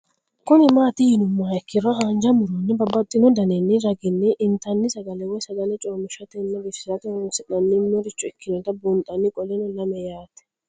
Kuni mati yinumoha ikiro hanja muroni babaxino daninina ragini intani sagale woyi sagali comishatenna bifisate horonsine'morich ikinota bunxana qoleno lame yaate